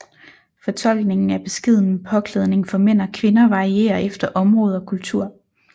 Fortolkningen af beskeden påklædning for mænd og kvinder varierer efter område og kultur